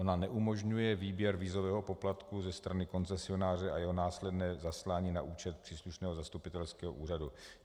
Ona neumožňuje výběr vízového poplatku ze strany koncesionáře a jeho následné zaslání na účet příslušného zastupitelského úřadu.